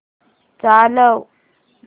चालव